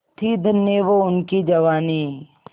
थी धन्य वो उनकी जवानी